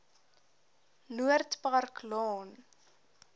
noord park laan